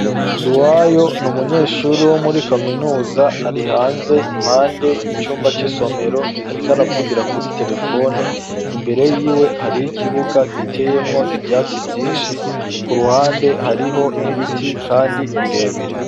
Nduwayo n’umunyeshuri wo muri kaminuza ari hanze impande y'icumba c'isomero ariko aravugira kuri terefone ,imbere yiwe harih’ ikibuga giteyemwo ivyatsi vyinshi ,ku ruhande hariho ibiti kandi birebire.